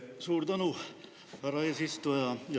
Suur tänu, härra eesistuja!